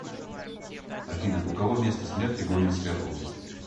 афина у кого место смерти гомельская область